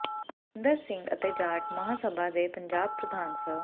ਅਮਰਿੰਦਰ ਸਿੰਘ ਅਤੇ ਜਾਟ ਮਹਾਂਸਭਾ ਦੇ ਪੰਜਾਬ ਪ੍ਰਧਾਨ ਸ